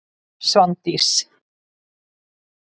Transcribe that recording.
Svandís